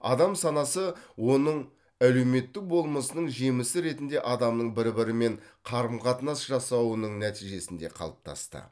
адам санасы оның әлеуметтік болмысының жемісі ретінде адамның бір бірімен қарым қатынас жасауының нәтижесінде қалыптасты